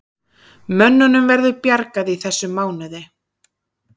Mönnunum verður bjargað í þessum mánuði